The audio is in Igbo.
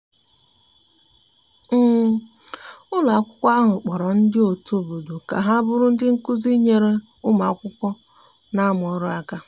um ụlọ akwụkwo ahụ kporo ndi otu obodo ka ha bụrụ ndi nkụzi nyere ụmụ akwụkwo n'amu ọrụ aka